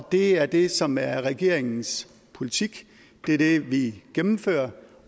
det er det som er regeringens politik det er det vi gennemfører